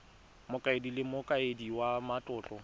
mokaedi le mokaedi wa matlotlo